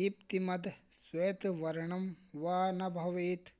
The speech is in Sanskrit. दिप्तिमद् श्वेतवर्णं वा न भवेत्